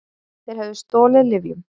Þeir höfðu stolið lyfjum.